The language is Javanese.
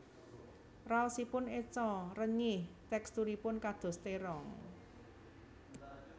Raosipun eco renyih teksturipun kados terong